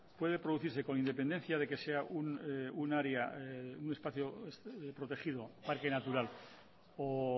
puede producirse con independencia de que sea un área un espacio protegido parque natural o